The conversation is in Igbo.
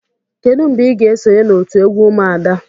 Kedu mgbe ị ga-esonye na otu egwu umuada?